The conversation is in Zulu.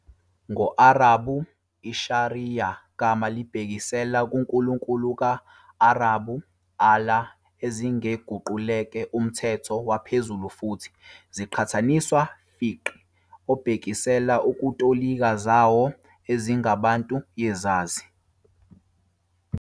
Ngo-Arabhu, "i-Shari'ah" gama libhekisela kuNkulunkulu ka-, Arabhu - الله Allāh, ezingeguquleke umthetho waphezulu futhi ziqhathaniswa "Fiqh", obhekisela ukutolika zawo ezingabantu yezazi.